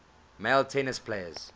male tennis players